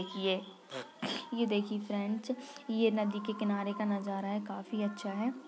ये देखिये फ्रेंड्स ये नदी के किनारे का नज़ारा है काफी अच्छा है।